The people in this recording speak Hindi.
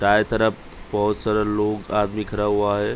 दांए तरफ बोहत सारे लोग आदमी खड़ा हुआ है ।